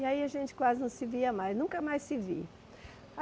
E aí a gente quase não se via mais, nunca mais se viu.